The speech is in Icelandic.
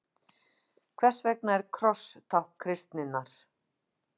Hvers vegna er kross tákn kristninnar?